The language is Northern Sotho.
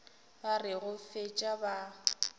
ba re go fetša ba